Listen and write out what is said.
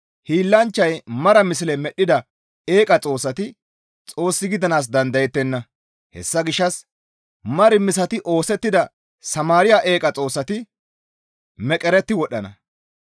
Hiillanchchay mara misle medhdhida eeqa xoossati Xoos gidanaas dandayettenna. Hessa gishshas mar misati oosettida Samaariya eeqa xoossati meqeretti wodhdhana.